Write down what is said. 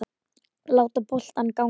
Láta boltann ganga.